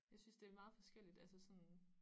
Jeg synes det er meget forskelligt altså sådan